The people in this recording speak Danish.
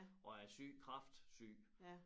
Og er syg kræftsyg